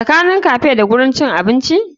Tsakanin cafe da gurin cin abinci?